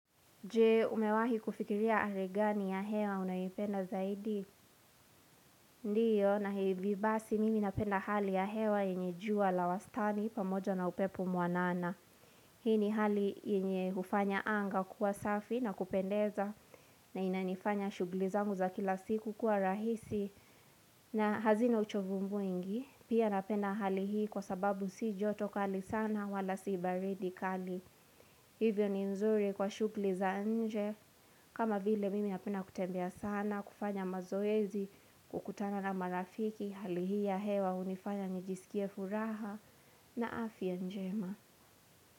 Je umewahi kufikiria hali gani ya hewa unayipenda zaidi? Ndiyo na hivi basi mimi napenda hali ya hewa yenye jua la wastani pamoja na upepo mwanana Hii ni hali yenye hufanya anga kuwa safi na kupendeza na inanifanya shughuli zangu za kila siku kuwa rahisi na hazina uchovu mwingi pia napenda hali hii kwa sababu si joto kali sana wala siibaridi kali Hivyo ni nzuri kwa shughuli za nje kama vile mimi napenda kutembea sana kufanya mazoezi kukutana na marafiki hali hii ya hewa hunifanya nijiskia furaha na afya njema.